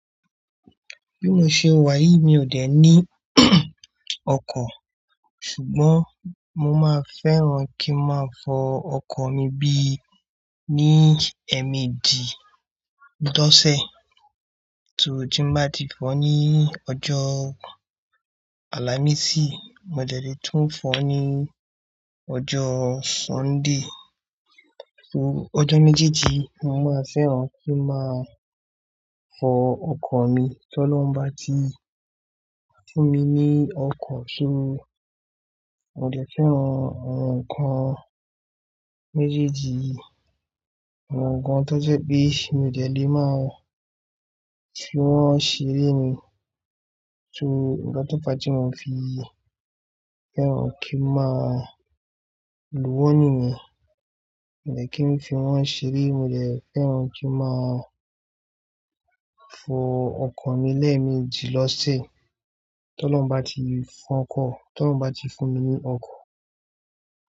Bí mo ṣe wà yìí mi ò dẹ̀ ní ọkọ̀. Ṣùgbọ́n mo máa fẹ́ràn kí máa fọ ọkọ̀ mi bí i ní ẹ̀ẹ̀méjì lọ́sẹ̀. So tí n bá ti fọ ní ọjọ́ àlàmísì, mo dẹ̀ le tún fọ ní ọjọ́ Sunday. So ọjọ́ méjèèjì mo máa fẹ́ràn kí n máa fọ ọkọ̀ mi. Tọ́ lọ bá ti fún mi ní ọkọ̀ sí mi, mo dẹ̀ fẹ́ràn àwọn nǹkan méjèèjì yi, àwọn nǹkan tó jẹ́ pé mi ò dẹ̀ le máa fi wọ́n ṣeré ni. So nkan tó bá ti mo fi fẹ́ràn kí n máa lù wọ́n nìyẹn, mo dẹ̀ kí n fi wọ́n ṣeré, mo dẹ̀ fẹ́ràn kí n máa fọ ọkọ̀ mi lẹ́ẹ̀mejìlọ́sẹ̀. Tọ́ lọ bá ti fọ ọkọ̀-- tọ́ lọ bá ti fún mi ní ọkọ̀.